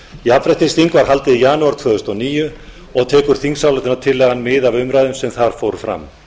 jafnréttisþing var haldið í janúar tvö þúsund og níu og tekur þingsályktunartillagan mið af umræðum sem þar fóru fram